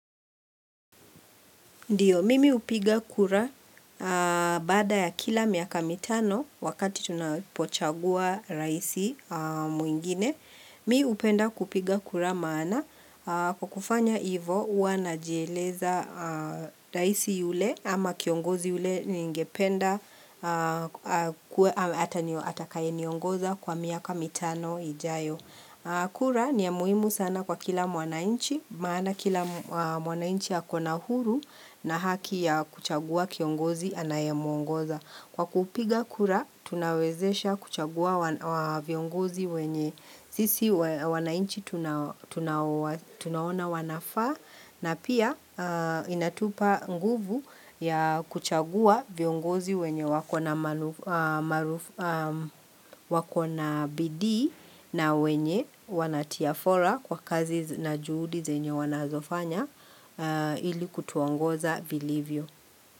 Ndio, mimi hupiga kura baada ya kila miaka mitano wakati tunapochagua rais mwingine. Mi hupenda kupiga kura maana kwa kufanya hivyo huwa najieleza rais yule ama kiongozi yule ningependa atakaye niongoza kwa miaka mitano ijayo. Kura ni ya muhimu sana kwa kila mwananchi, maana kila mwananchi ako na huru na haki ya kuchagua kiongozi anayemuongoza. Kwa kupiga kura, tunawezesha kuchagua viongozi wenye sisi wananchi tunaona wanafaa na pia inatupa nguvu ya kuchagua viongozi wenye wakona bidii na wenye wanatia fora kwa kazi na juhudi zenye wanazofanya ili kutuongoza vilivyo.